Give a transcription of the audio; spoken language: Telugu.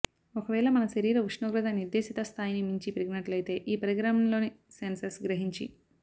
ఒక వేళ మన శరీర ఉష్ణోగ్రత నిర్దేశిత స్థాయిని మించి పెరిగినట్లయితే ఈ పరికరంలోని సెన్సర్ గ్రహించి